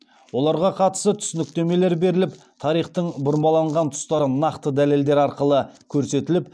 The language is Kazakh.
оларға қатысы түсініктемелер беріліп тарихтың бұрмаланған тұстары нақты дәлелдер арқылы көрсетіліп